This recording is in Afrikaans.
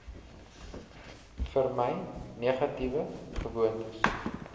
vermy negatiewe gewoontes